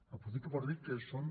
aprofito per dir que són